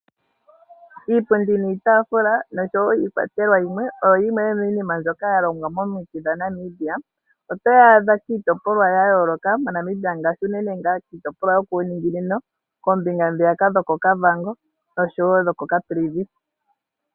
Iipundi niitaafula nosho wo iikwatelwa yimwe oyo yimwe yomiinima mbyoka ya longwa momiti dhaNamibia. Otoyi adha kiitopolwa ya yooloka moNamibia ngaashi unene kiitopolwa yokuuningingino, koombinga ndhiyaka dho koKavango osho wo dho koCaprivi.